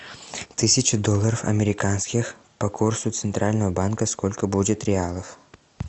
тысяча долларов американских по курсу центрального банка сколько будет реалов